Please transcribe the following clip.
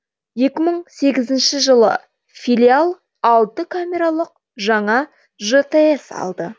екі мың сегізінші жылы филиал алты камералық жаңа жтс алды